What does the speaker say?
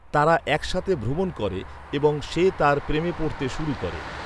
তারা একসাথে ভ্রমণ করে এবং সে তার প্রেমে পড়তে শুরু করে।